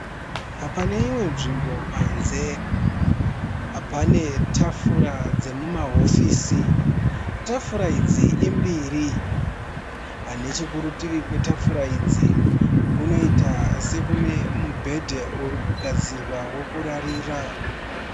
Paneimwe nzvimbo panze. Pane tafura dzemumahofisi. Tafura idzi imbiri Nechekurutivi kwetafura idzi kunoita sekune mubhedhe urikugadzirwa wekurarira.